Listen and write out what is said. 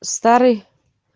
старый